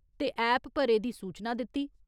ते ऐप पर एह्‌‌‌दी सूचना दित्ती।